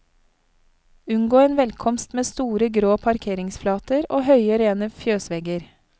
Unngå en velkomst med store grå parkeringsflater og høye, rene fjøsvegger.